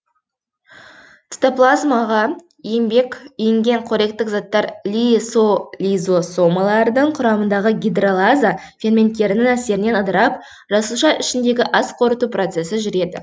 цитоплазмаға енген қоректік заттар лизосомалардың құрамындағы гидролаза ферменттерінің әсерінен ыдырап жасуша ішіндегі асқорыту процесі жүреді